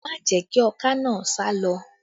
Má jẹ̀ kí ọká naa sálọ!